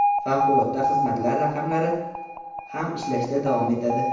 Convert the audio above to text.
Favqulodda xizmatlar raqamlari ham ishlashda davom etadi.